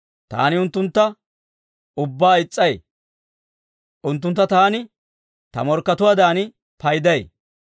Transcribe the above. Taani unttuntta ubbaa is's'ay; unttuntta taani ta morkkatuwaadan payday.